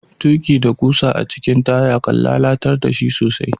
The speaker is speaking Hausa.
Tuki da kusa a cikin taya, kan lallatar da shi sosai.